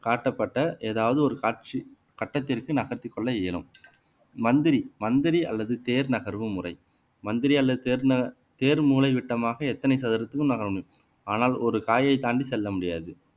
காட்டப்பட்ட ஏதாவது ஒரு காட்சி கட்டத்திற்கு நகர்த்திக் கொள்ள இயலும் மந்திரி மந்திரி அல்லது தேர் நகர்வு முறை மந்திரி அல்லது தேர் ந தேர் மூலைவிட்டமாக எத்தனை சதுரத்துக்கும் நகரும் ஆனால் ஒரு காயை தாண்டி செல்ல முடியாது